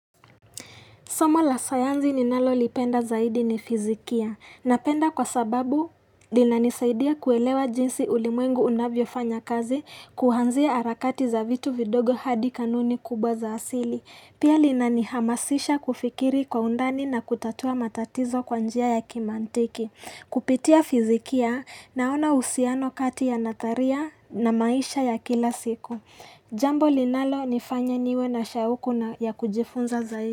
Somo la sayanzi ninalo lipenda zaidi ni fizikia. Napenda kwa sababu lina nisaidia kuelewa jinsi ulimwengu unavyo fanya kazi kuhanzia harakati za vitu vidogo hadi kanuni kubwa za asili. Pia lina nihamasisha kufikiri kwa undani na kutatua matatizo kwa njia ya kimantiki. Kupitia fizikia naona usiano kati ya natharia na maisha ya kila siku. Jambo linalo nifanya niwe na shauku na ya kujifunza zaidi.